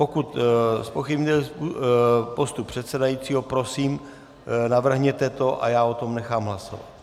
Pokud zpochybňujete postup předsedajícího, prosím, navrhněte to a já o tom nechám hlasovat.